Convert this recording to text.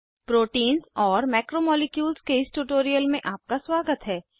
proteins और macromolecules के इस ट्यूटोरियल में आपका स्वागत है